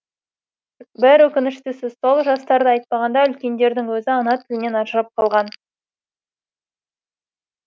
бір өкініштісі сол жастарды айтпағанда үлкендердің өзі ана тілінен ажырап қалған